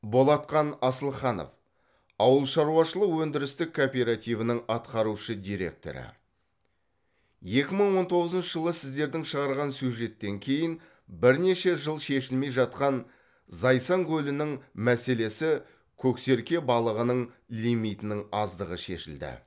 болатхан асылханов ауылшаруашылық өндірістік кооперативінің атқарушы директоры екі мың он тоғызыншы жылы сіздердің шығарған сюжеттен кейін бірнеше жыл шешілмей жатқан зайсан көлінің мәселесі көксерке балығының лимитінің аздығы шешілді